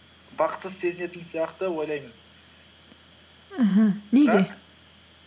бақытсыз сезінетін сияқты ойлаймын аха